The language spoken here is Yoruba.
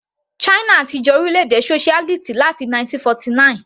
China ti jẹ́ orílẹ̀-èdè socialist láti 1949.